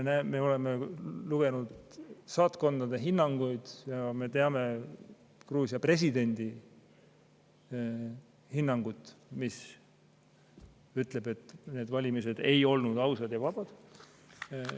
Me oleme lugenud saatkondade hinnanguid ja me teame Gruusia presidendi hinnangut, mis ütleb, et need valimised ei olnud ausad ja vabad.